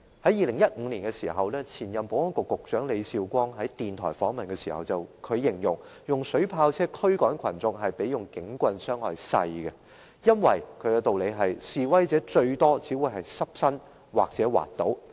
在2015年，前任保安局局長李少光在電台訪問時，形容使用水炮車驅趕群眾較警棍造成的傷害少，因為示威者最多只是濕身或滑倒。